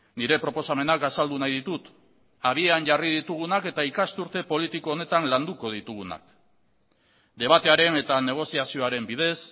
nire proposamenak azaldu nahi ditut abian jarri ditugunak eta ikasturte politiko honetan landuko ditugunak debatearen eta negoziazioaren bidez